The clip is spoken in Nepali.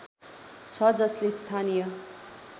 छ जसले स्थानीय